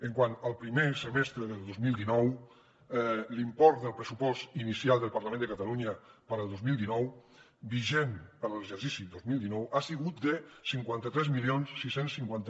quant al primer semestre del dos mil dinou l’import del pressupost inicial del parlament de catalunya per al dos mil dinou vigent per a l’exercici dos mil dinou ha sigut de cinquanta tres mil sis cents i cinquanta